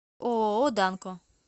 ооо данко